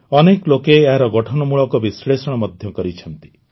ଅନେକ ଲୋକେ ଏହାର ଗଠନମୂଳକ ବିଶ୍ଲେଷଣ ମଧ୍ୟ କରିଛନ୍ତି